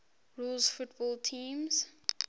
rules football teams